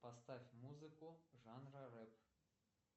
поставь музыку жанра рэп